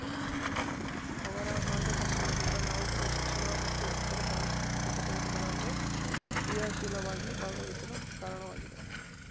ಅವರ ಮಾರ್ಗದರ್ಶನದಿಂದ ನಾವುಗಳು ಶಿಕ್ಷಣ ಮತ್ತು ಇತರೆ ಸಾಂಸ್ಕೃತಿಕ ಚಟುವಟಿಕೆಗಳಲ್ಲೂ ಕ್ರಿಯಾಶೀಲವಾಗಿ ಭಾಗವಹಿಸಲು ಕಾರಣವಾಗಿದೆ